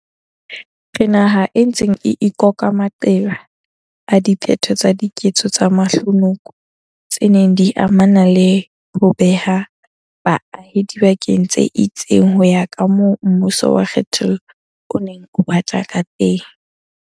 Re naha e ntseng e ikoka maqeba a diphetho tsa diketso tse mahlonoko tse neng di amana le ho beha baahi dibakeng tse itseng ho ya kamoo mmuso wa kge thollo o neng o batla kateng.